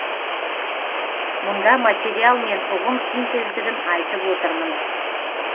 мұнда материал мен ұғым синтездігін айтып отырмын